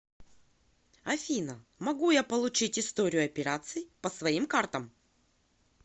афина могу я получить историю операций по своим картам